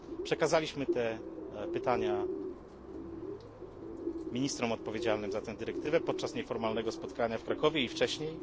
Przekazaliśmy je ministrom odpowiedzialnym za tę dyrektywę podczas nieformalnego spotkania w Krakowie i wcześniej.